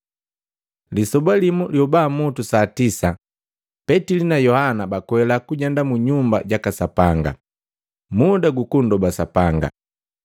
Lisoba limu, lyobamutu saa tisa, Petili na Yohana bakwela kujenda mu Nyumba jaka Sapanga, muda gu kunndoba Sapanga.